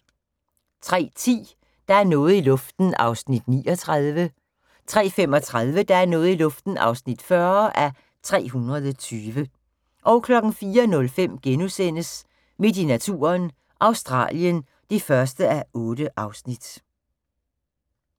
03:10: Der er noget i luften (39:320) 03:35: Der er noget i luften (40:320) 04:05: Midt i naturen – Australien (1:8)*